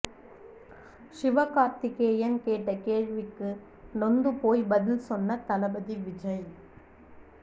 சிவகார்த்திகேயன் கேட்ட கேள்விக்கு நொந்து போய் பதில் சொன்ன தளபதி விஜய்